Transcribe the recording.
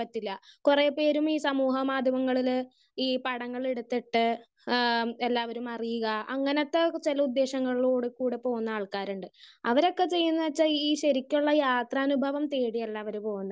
Speaker 1 പറ്റില്ല. കുറേ പേര് ഈ സാമൂഹ്യ മാധ്യമങ്ങളില് ഈ പടങ്ങളെടുത്തിട്ട് ഏഹ് എല്ലാവരും അറിയുക അങ്ങനത്തെ ചില ഉദ്ദേശങ്ങളിലൂടെ കൂടെ പോകുന്ന ആൾക്കാരുണ്ട് ആഹ് അവരൊക്കെ ചെയ്യുന്നേ വെച്ചാൽ ഈ ശരിക്കുള്ള യാത്രാനുഭവം തേടിയല്ല അവര് പോകുന്നത്.